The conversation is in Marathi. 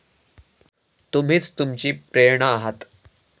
तुम्हीच तुमची प्रेरणा आहात.